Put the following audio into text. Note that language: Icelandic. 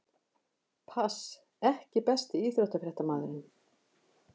pass EKKI besti íþróttafréttamaðurinn?